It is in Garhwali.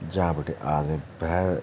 ज्यां बटे आदमी भैर ।